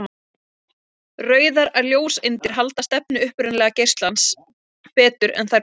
Rauðar ljóseindir halda stefnu upprunalega geislans betur en þær bláu.